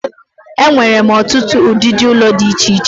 E nwere otutu udidi ulo di iche iche.